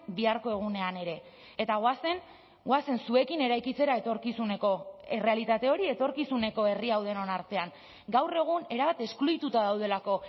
biharko egunean ere eta goazen goazen zuekin eraikitzera etorkizuneko errealitate hori etorkizuneko herri hau denon artean gaur egun erabat eskluituta daudelako